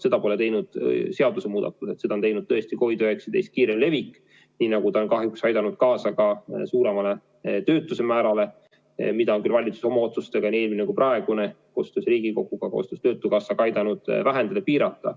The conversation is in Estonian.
Seda pole teinud seadusemuudatused, seda on teinud tõesti COVID-19 kiirem levik, nii nagu see on kahjuks aidanud kaasa ka suuremale töötuse määrale, mida on küll valitsus oma otsustega, nii eelmine kui praegune, koostöös Riigikoguga, koostöös töötukassaga aidanud vähendada, piirata.